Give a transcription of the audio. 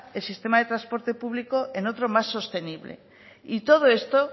el sistema de transporte público en otro más sostenible y todo esto